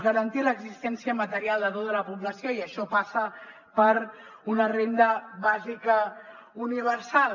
garantir l’existència material de tota la població i això passa per una renda bàsica universal